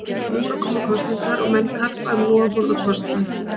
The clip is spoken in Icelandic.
nú eru að koma kosningar og menn karpa um loforð og kostnað